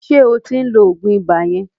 Ṣé o ti ń lo òògùn ibà yẹn?